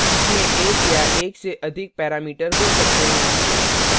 इसमें एक या एकसे अधिक पैरामीटर हो सकते हैं